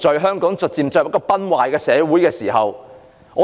香港已逐漸進入一個崩壞的時代。